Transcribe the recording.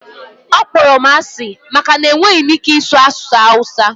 ọ kpọrọ m asị maka na enweghị m ike ịsụ asụsụ hausa